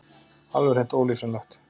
Alveg hreint ólýsanlegt!